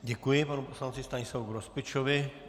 Děkuji panu poslanci Stanislavu Grospičovi.